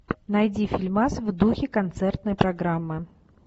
найди фильмас в духе концертной программы